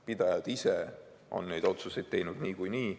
Pidajad ise on neid otsuseid teinud niikuinii.